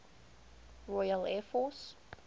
royal air force